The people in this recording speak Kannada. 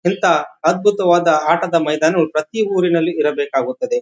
ಎಂತ ಅದ್ಭುತವಾದ ಆಟದ ಮೈದಾನನು ಪ್ರತಿ ಊರಲ್ಲಿ ಇರಬೇಕಾಗುತ್ತದೆ.